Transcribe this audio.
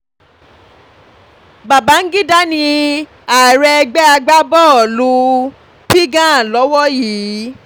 bangida ní ààrẹ ẹgbẹ́ agbábọ́ọ̀lù um pgan lowó yìí